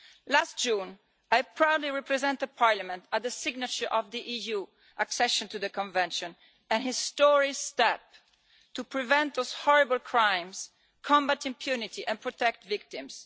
Last June, I proudly represented Parliament at the signature of the EU accession to the Convention, a historic step towards preventing those horrible crimes, combating impunity and protecting victims.